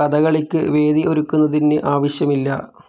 കഥകളിക്ക് venue ഒരുക്കുന്നതിന് ആവശ്യമില്ല.